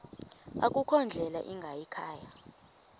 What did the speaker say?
akukho ndlela ingayikhaya